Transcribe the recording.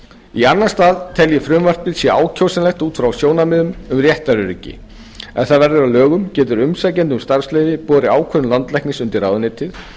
í annan stað tel ég að frumvarpið sé ákjósanlegt út frá sjónarmiðum um réttaröryggi ef það verður að lögum getur umsækjandi um starfsleyfi borið ákvörðun landlæknis undir ráðuneytið